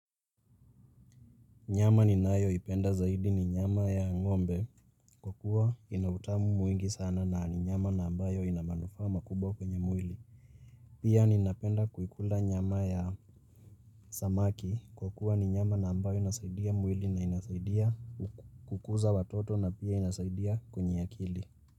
Nyama ni nayo ipenda zaidi ni nyama ya ng'ombe kwa kua ina utamu mwingi sana na ni nyama na ambayo ina manufaa makubwa kwenye mwili. Pia ni napenda kuikula nyama ya samaki kwa kua ni nyama na ambayo inasaidia mwili na inasaidia kukuza watoto na pia inasaidia kwenye akili.